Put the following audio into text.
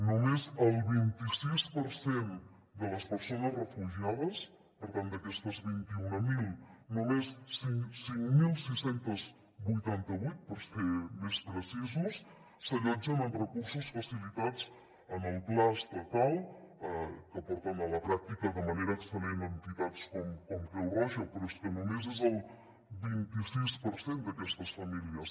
només el vint i sis per cent de les persones refugiades per tant d’aquestes vint mil només cinc mil sis cents i vuitanta vuit per ser més precisos s’allotgen en recursos facilitats en el pla estatal que porten a la pràctica de manera excel·lent entitats com creu roja però és que només és el vint i sis per cent d’aquestes famílies